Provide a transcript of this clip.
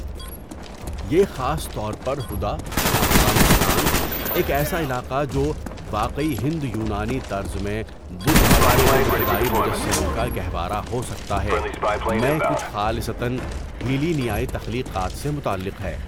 یہ خاص طور پر ہدہ، افغانستان، ایک ایسا علاقہ جو 'واقعی ہند یونانی طرز میں بدھ مت کے ابتدائی مجسموں کا گہوارہ ہو سکتا ہے'، میں کچھ خالصتاً ہیلینیائی تخلیقات سے متعلق ہے۔